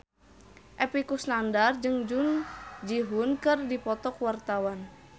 Epy Kusnandar jeung Jung Ji Hoon keur dipoto ku wartawan